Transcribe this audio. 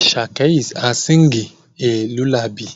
Asake is asinging a lullaby